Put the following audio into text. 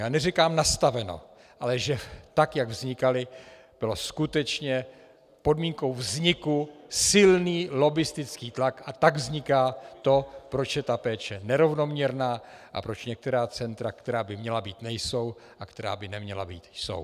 Já neříkám nastaveno, ale že tak jak vznikala, byl skutečně podmínkou vzniku silný lobbistický tlak, a tak vzniká to, proč je ta péče nerovnoměrná a proč některá centra, která by měla být, nejsou, a která by neměla být, jsou.